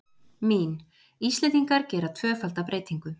Mín: Íslendingar gera tvöfalda breytingu.